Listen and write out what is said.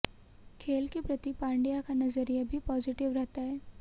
खेल के प्रति पंड्या का नजरिया भी पॉजिटिव रहता है